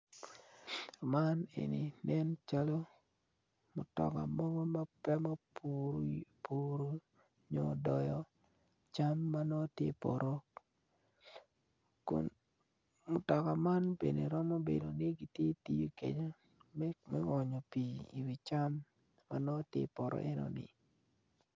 Man eni nen calo mutoka mogo ma gupuru nyo doyo cam ma nongo tye ipoto kun mutoka man bene romo bedo ni gitye katiyo kede me me onyo pii iwi cam manongo tye ipoto enoni